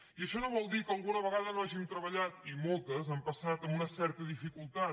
i això no vol dir que alguna vegada no hàgim treballat i moltes han passat amb una certa dificultat